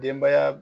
Denbaya